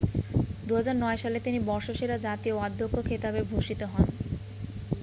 2009 সালে তিনি বর্ষসেরা জাতীয় অধ্যক্ষ খেতাবে ভূষিত হন